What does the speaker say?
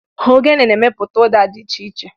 Ogene na-emepụta ụda dị iche iche.